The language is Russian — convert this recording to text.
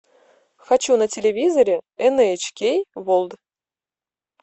хочу на телевизоре эн эйч кей ворлд